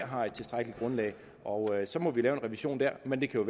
har et tilstrækkeligt grundlag og så må vi lave en revision der men det kan